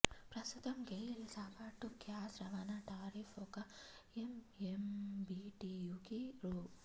ప్రస్తుతం గెయిల్ సగటు గ్యాస్ రవాణా టారిఫ్ ఒక ఎంఎంబీటీయూకి రూ